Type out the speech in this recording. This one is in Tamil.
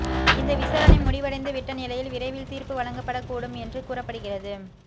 இந்த விசாரணை முடிவடைந்துவிட்ட நிலையில் விரைவில் தீர்ப்பு வழங்கப்படக் கூடும் என்று கூறப்படுகிறது